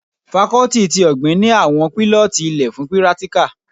Fakọ́tì tí ọ̀gbìn ni àwọn pílọ́tì ilẹ fun pírátíkà